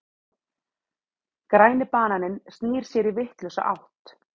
Græni bananinn snýr sér í vitlausa átt.